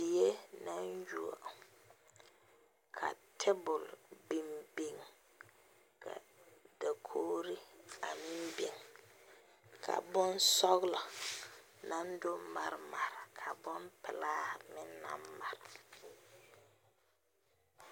Die na yuoɔ. Ka tabul biŋ biŋ. Ka dakoore a meŋ biŋ. Ka boŋ sɔglɔ na do mare mare. Ka boŋ pulaa meŋ na mare